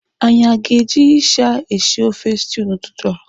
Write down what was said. Anyị aga eji ịsha eshi ofe stew n'ụtụtụ a?